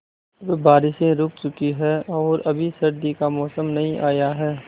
अब बारिशें रुक चुकी हैं और अभी सर्दी का मौसम नहीं आया है